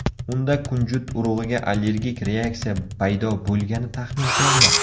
Unda kunjut urug‘iga allergik reaksiya paydo bo‘lgani taxmin qilinmoqda.